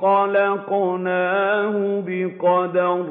خَلَقْنَاهُ بِقَدَرٍ